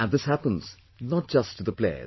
And this happens not just to the players